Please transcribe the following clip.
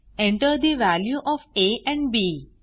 Enter the value of a and B